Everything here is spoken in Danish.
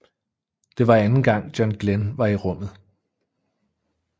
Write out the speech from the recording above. Det var anden gang John Glenn var i rummet